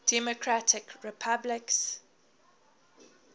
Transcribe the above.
democratic republicans